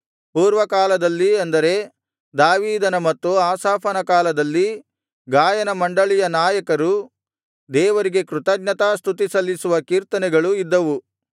ಪೂರ್ವಕಾಲದಲ್ಲಿ ಅಂದರೆ ದಾವೀದನ ಮತ್ತು ಆಸಾಫನ ಕಾಲದಲ್ಲಿ ಗಾಯನಮಂಡಳಿಯ ನಾಯಕರು ದೇವರಿಗೆ ಕೃತಜ್ಞತಾಸ್ತುತಿ ಸಲ್ಲಿಸುವ ಕೀರ್ತನೆಗಳು ಇದ್ದವು